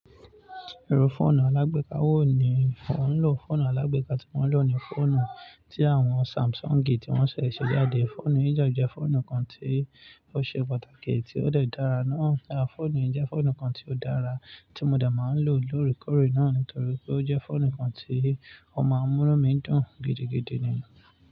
Irú fọ́ọ̀nù alágbèéká wò ní ò ń lò? Fọ́ọ̀nù alágbèéká tí mò ń lò ni fọ́ọ̀nù tí àwọn Samsungi tí wọ́n ṣẹ̀ ṣẹ̀ jáde. Fọ́ọ̀nù yìí jẹ́ de jẹ fọ́ọ̀nù kan tí ó ṣe pàtàkì tí ó dẹ dára ná. Fọ́ọ̀nù yìí jẹ́ fọ́ọ̀nù kan tí ó dára tí mo dẹ máa ń lò lórí kórí náà nítorí pé ó jẹ́ fọ́ọ̀nù kan tí ó máa ń múnu mi dùn gidigidi ni.